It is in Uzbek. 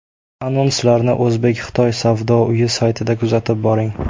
Anonslarni O‘zbek-Xitoy Savdo uyi saytida kuzatib boring.